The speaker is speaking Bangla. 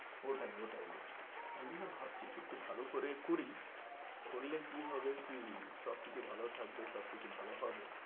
ওটাই ওটাই ওটাই তাই জন্য ভাবছি কি একটূ ভালো করে করি করলে কি হবে কি সবকিছু ভালো থাকবে সবকিছু ভালো হবে,